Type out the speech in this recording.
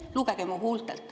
Lugege mu huultelt.